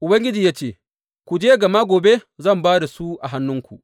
Ubangiji ya ce, Ku je, gama gobe zan ba da su a hannuwanku.